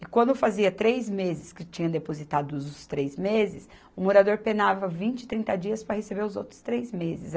E quando fazia três meses que tinha depositado os três meses, o morador penava vinte, trinta dias para receber os outros três meses.